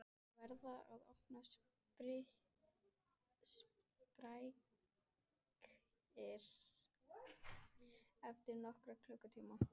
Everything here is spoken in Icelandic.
Þeir verða orðnir sprækir eftir nokkra klukkutíma